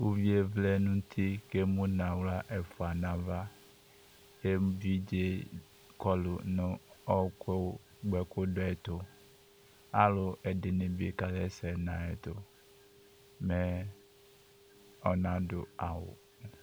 uvié vlɛ nu uti ké mu na xlă ɛfua na ava évidzé kɔlu nu ɔku gbaku du ɛtu alu ɛdini bi kayɛsɛ nayɛtu mɛ ɔnadu awu